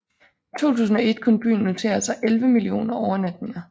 I 2001 kunne byen notere sig 11 millioner overnatninger